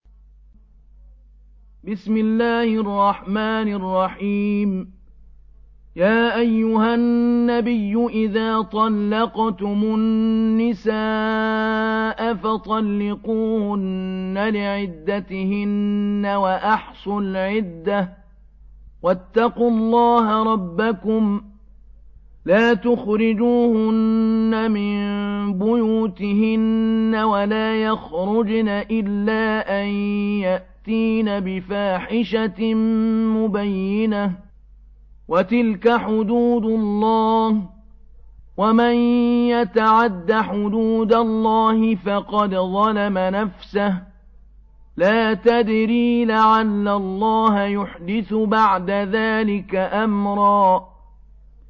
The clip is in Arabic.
يَا أَيُّهَا النَّبِيُّ إِذَا طَلَّقْتُمُ النِّسَاءَ فَطَلِّقُوهُنَّ لِعِدَّتِهِنَّ وَأَحْصُوا الْعِدَّةَ ۖ وَاتَّقُوا اللَّهَ رَبَّكُمْ ۖ لَا تُخْرِجُوهُنَّ مِن بُيُوتِهِنَّ وَلَا يَخْرُجْنَ إِلَّا أَن يَأْتِينَ بِفَاحِشَةٍ مُّبَيِّنَةٍ ۚ وَتِلْكَ حُدُودُ اللَّهِ ۚ وَمَن يَتَعَدَّ حُدُودَ اللَّهِ فَقَدْ ظَلَمَ نَفْسَهُ ۚ لَا تَدْرِي لَعَلَّ اللَّهَ يُحْدِثُ بَعْدَ ذَٰلِكَ أَمْرًا